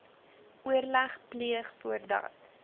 oorleg pleeg voordat